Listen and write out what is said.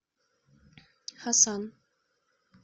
хасан